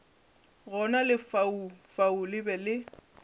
gona lefaufau le be le